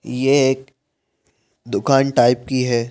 ये एक दुकान टाइप की है।